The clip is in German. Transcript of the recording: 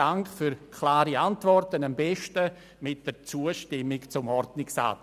Dank für klare Antworten, am besten verbunden mit einer Zustimmung zum Ordnungsantrag.